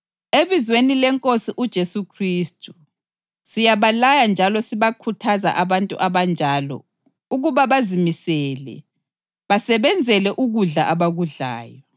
Ebizweni leNkosi uJesu Khristu, siyabalaya njalo sibakhuthaza abantu abanjalo ukuba bazimisele, basebenzele ukudla abakudlayo.